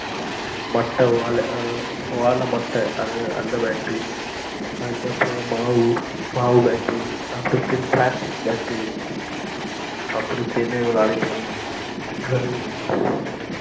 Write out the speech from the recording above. மட்ட ஓல ஓலமட்டஅந்த bat அஹ் அதுக்கு அப்புறம் மாவு மாவு bat அப்டி இபுடின்னு plastic bat உ அப்டி இப்புடின்னுவிளையாடிகிட்டு இருந்தோம்.